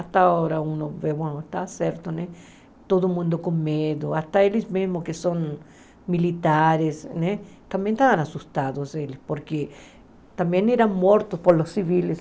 Até agora, está certo né, todo mundo com medo, até eles mesmos que são militares né, também estavam assustados, porque também eram mortos pelos civis.